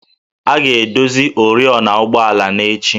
A ga-edozi oriọna ụgbọala n'echi